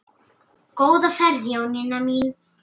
Góða ferð Jónína mín.